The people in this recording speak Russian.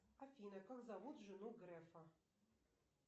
афина как зовут жену грефа